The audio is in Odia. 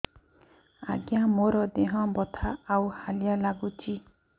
ଆଜ୍ଞା ମୋର ଦେହ ବଥା ଆଉ ହାଲିଆ ଲାଗୁଚି